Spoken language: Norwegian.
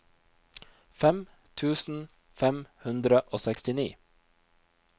fem tusen fem hundre og sekstini